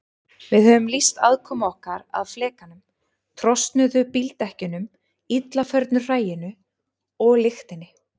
Við höfum lýst aðkomu okkar að flekanum, trosnuðum bíldekkjunum, illa förnu hræinu og lyktinni.